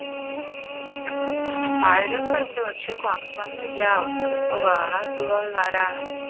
ആയവരൊക്കെ ഉണ്ട് പക്ഷെ കുഴപ്പം ഒന്നും ഇല്ല അവർക്ക് ഇപ്പൊ വേറെ അസുഖം ഉള്ളവരാണ്